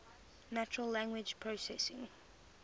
natural language processing